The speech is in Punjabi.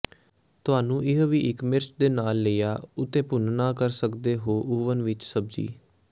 ਤੁਹਾਨੂੰ ਇਹ ਵੀ ਇੱਕ ਮਿਰਚ ਦੇ ਨਾਲ ਲਈਆ ਉੱਤੇਭੁੰਨਣਾ ਕਰ ਸਕਦੇ ਹੋ ਓਵਨ ਵਿਚ ਸਬਜ਼ੀ